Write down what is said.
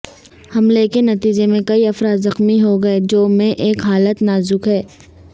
حملے کے نتیجے میں کئی افراد زخمی ہوگئے جو میں ایک حالت نازک ہے